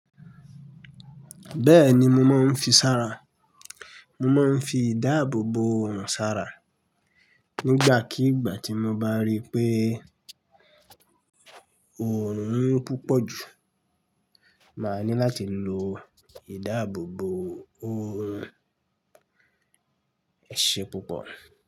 Bẹ́ẹ̀ni mo máa ń fi sára, mo máa ń fi ìdáàbòbò òòrùn sára. Nígbàkígbà tí mo bá rí pé òòrùn mu púpọ̀ jù, màá ní láti lo ìdáàbòbò òòrùn. Ẹṣe púpọ̀